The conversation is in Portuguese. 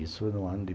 Isso no ano de